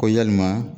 Ko yalima